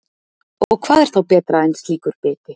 Og hvað er þá betra en slíkur biti?